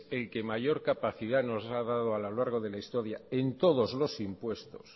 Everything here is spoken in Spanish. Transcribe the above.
el que mayor capacidad nos ha dado a lo largo de la historia en todos los impuestos